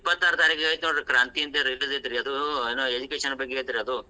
ಇಪ್ಪತ್ತಾರ್ ತಾರಿಕೆಗೆ ಐತಿ ನೋಡ್ರಿ ಕ್ರಾಂತಿ ಅಂತ release ಐತ್ರಿ ಅದೂ, ಅದ್ education ಬಗ್ಗೆ ಐತ್ರಿ ಅದು.